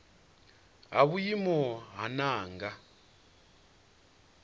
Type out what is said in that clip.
ha vhuimo ha nha nga